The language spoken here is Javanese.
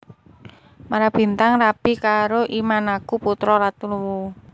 I Marabintang rabi karo I Mannakku putra ratu Luwu